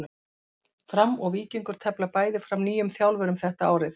Fram og Víkingur tefla bæði fram nýjum þjálfurum þetta árið.